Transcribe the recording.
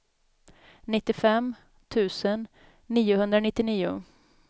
nittiofem tusen niohundranittionio